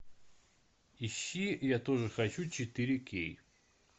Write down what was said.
ищи я тоже хочу четыре кей